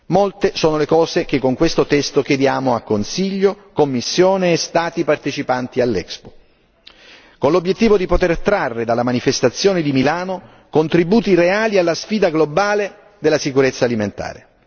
Molte sono le cose che con questo testo chiediamo a Consiglio, Commissione e Stati partecipanti all'Expo, con l'obiettivo di poter trarre dalla manifestazione di Milano contributi reali alla sfida globale della sicurezza alimentare.